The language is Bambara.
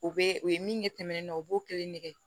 U bɛ u ye min ye tɛmɛnen na u b'o kelen ne kɛ